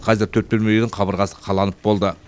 қазір төрт бөлмелі үйдің қабырғасы қаланып болды